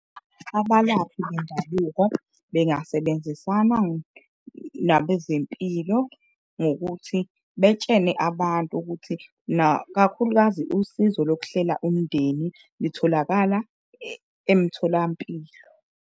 Abalaphi bendabuko bengasebenzisana nabezempilo ngokuthi betshene abantu ukuthi, kakhulukazi usizo lokuhlela umndeni litholakala emtholampilo.